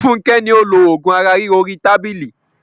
Fúnkẹ́ ni ó lo oògùn ara ríro orí tábìlì.